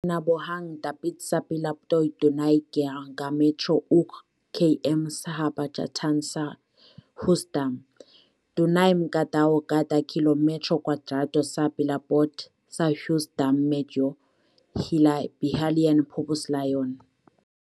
nahabogang dapit sa palibot dunay gihabogon nga ka metro ug km sa habagatan sa Hughes Dam. Dunay mga ka tawo kada kilometro kwadrado sa palibot sa Hughes Dam medyo hilabihan populasyon..